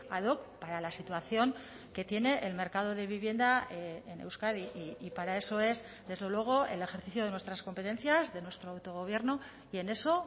ad hoc para la situación que tiene el mercado de vivienda en euskadi y para eso es desde luego el ejercicio de nuestras competencias de nuestro autogobierno y en eso